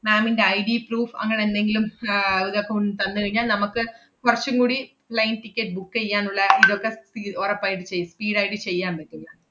ma'am ന്‍റെ IDproof അങ്ങനെന്തെങ്കിലും ആഹ് ഇതക്കെ ഉ~ തന്നുകഴിഞ്ഞാൽ നമ്മക്ക് കൊറച്ചും കൂടി plane ticket book എയ്യാനുള്ള ഇതെക്കെ തി~ ഒറപ്പായിട്ടും ചെയ്ത്~ speed ആയിട്ട് ചെയ്യാൻ പറ്റും yeah